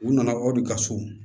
U nana aw de ka so